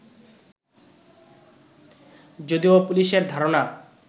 যদিও পুলিশের ধারণা